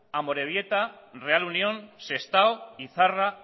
amorebieta real unión sestao izarra